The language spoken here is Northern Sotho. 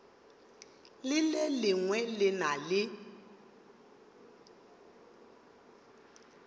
le lengwe le na le